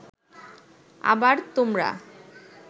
আবার তোমরা